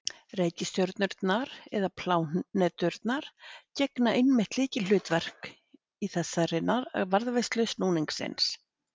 Reikistjörnurnar eða pláneturnar gegna einmitt lykilhlutverki í þessari varðveislu snúningsins.